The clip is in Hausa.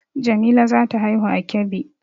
Jamila za ta haihu a Kebbi